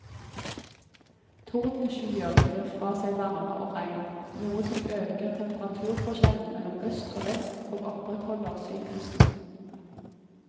Tordenskyer gir fra seg varme og regn, noe som øker temperaturforskjellen mellom øst og vest og opprettholder syklusen.